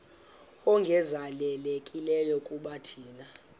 ongezelelekileyo kuba thina